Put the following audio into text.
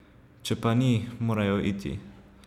Če pa ni, morajo iti.